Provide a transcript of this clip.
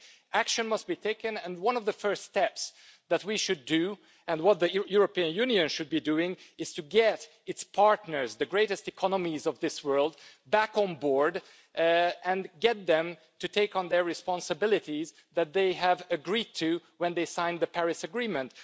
Action must be taken, and one of the first steps that we should take and what the European Union should be doing is to get its partners, the greatest economies of this world, back on board and get them to take on the responsibilities that they agreed to when they signed the Paris Agreement.